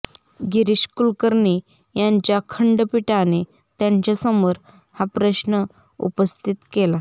गिरीश कुलकर्णी यांच्या खंडपीठाने त्यांच्यासमोर हा प्रश्न उपस्थित केला